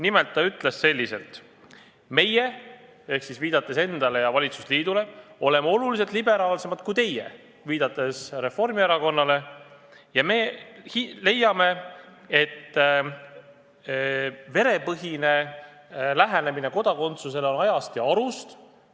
Nimelt ta ütles nii: "Meie oleme oluliselt liberaalsemad kui teie ja me leiame, et verepõhine lähenemine kodakondsusele on ajast ja arust.